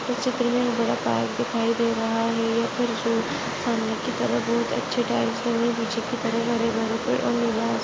इस चित्र में दिखाई दे रहा है सामने की तरफ बहुत अच्छे टाइल्स बिछे है पीछे की तरफ हरे भरे पेड़ --